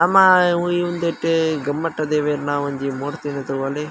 ನಮ್ಮ ಉಂದೆಟ್ ಗೊಮ್ಮಟ್ಟ ದೇವೆರ್ನ ಒಂಜಿ ಮೂರ್ತಿನ್ ತೂವೊಲಿ.